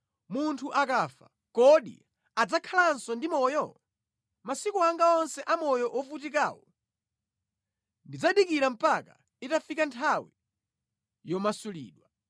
Munthu akafa, kodi adzakhalanso ndi moyo? Masiku anga onse a moyo wovutikawu ndidzadikira mpaka itafika nthawi yomasulidwa.